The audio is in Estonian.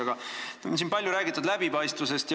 Aga siin on palju räägitud läbipaistvusest.